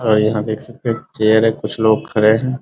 और यहाँ देख सकते हैं चेयर है कुछ लोग खड़े हैं ।